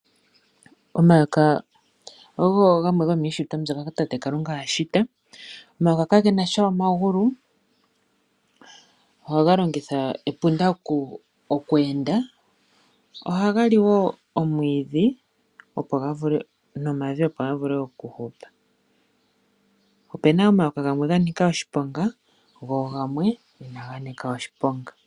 Omayoka nago ogeli gamwe go miishitwa ya tate Kalunga, kage nasha omagulu ohaga longitha epunda okweenda. Ohaga li omwiidhi nomavi, opo ga vule okuhupa opuna omayoka gamwe ga nika oshiponga go gamwe inaga nika oshiponga.